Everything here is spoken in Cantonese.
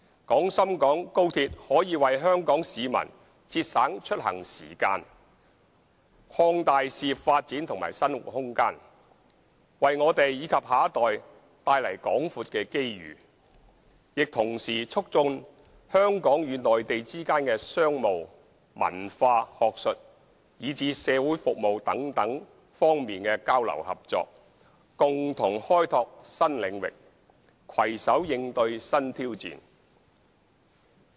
廣深港高鐵可為香港市民節省出行時間、擴大事業發展及生活空間，為我們及下一代帶來廣闊的機遇，亦同時促進香港與內地之間的商務、文化、學術，以至社會服務等多方面的交流合作，共同開拓新領域，攜手應對新挑戰。